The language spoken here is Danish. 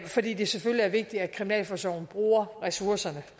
fordi det selvfølgelig er vigtigt at kriminalforsorgen bruger ressourcerne